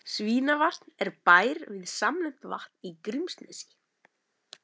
Svínavatn er bær við samnefnt vatn í Grímsnesi.